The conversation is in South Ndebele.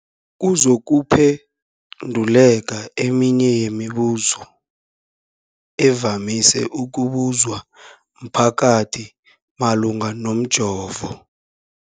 kuzokuphe nduleka eminye yemibu zo evamise ukubuzwa mphakathi malungana nomjovo.